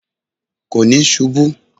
Kò níí ṣubú